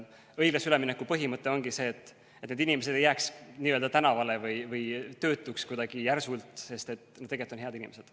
Õiglase ülemineku põhimõte ongi see, et inimesed ei jääks n-ö tänavale või töötuks kuidagi järsult, sest tegelikult on need head inimesed.